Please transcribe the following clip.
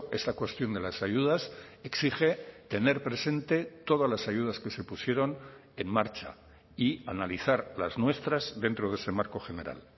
esta cuestión de las ayudas exige tener presente todas las ayudas que se pusieron en marcha y analizar las nuestras dentro de ese marco general